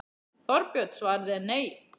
Þorbjörn: Svarið er nei?